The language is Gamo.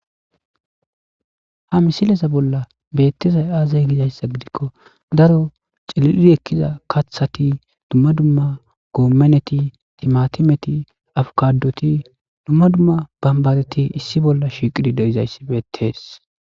Ha misilesa bolla beettizay aazay gizayssa gidikko daro ciliri ekkiza kaththati dumma dumma goommeneti timatimeti afukadoti dumma dumma bambareti issi bolla shiqidi deizayssi beettees